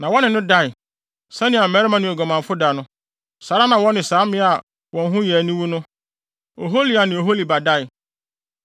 Na wɔne no dae. Sɛnea mmarima ne oguamanfo da no, saa ara na wɔne saa mmea a wɔn ho yɛ aniwu no, Ohola ne Oholiba dae.